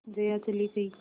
जया चली गई